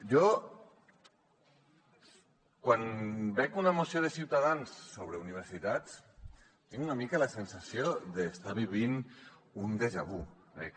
jo quan veig una moció de ciutadans sobre universitats tinc una mica la sensació d’estar vivint un déjà vu